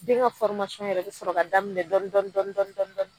Den ŋa yɛrɛ bɛ sɔrɔ ka daminɛ dɔn dɔn dɔn dɔn dɔn dɔn